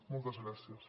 moltes gràcies